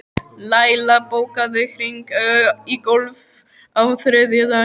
Laila, bókaðu hring í golf á þriðjudaginn.